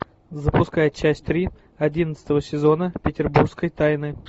запускай часть три одиннадцатого сезона петербургской тайны